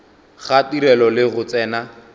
ga tirelo le go tsena